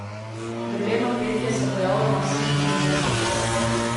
Grleno petje se pojavlja na vseh kontinentih.